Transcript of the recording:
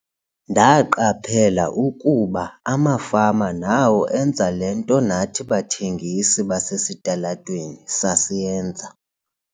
"Ndaqaphela ukuba amafama nawo enza le nto nathi bathengisi basesitalatweni sasiyenza."